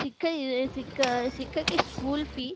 শিক্ষাতে school fee